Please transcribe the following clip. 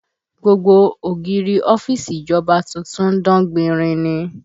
Gbogbo ògiri ọ́fíìsì ìjọba tuntun ń dán gbinrin ni